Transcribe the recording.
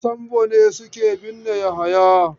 Su Sambo ne suke binne Yahaya.